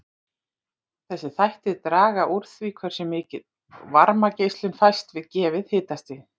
Þessir þættir draga úr því hversu mikil varmageislun fæst við gefið hitastig.